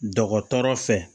Dɔgɔtɔrɔ fɛ